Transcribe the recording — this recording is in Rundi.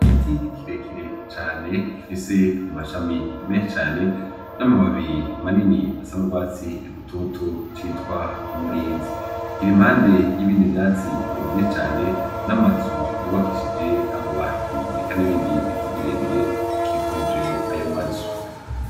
Igiti kirekire cane gifise amashami menshi cane n'amababi manini asa n'urwatsi rutoto bita umurinzi. Kiri impande y'ibindi vyatsi vyinshi cane n'amazu yubakishije amabati eka n'ibindi biti birebire bikikuje ayo mazu.